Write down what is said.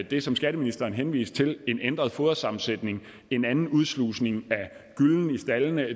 det som skatteministeren henviste til en ændret fodersammensætning og en anden udslusning af gyllen i staldene og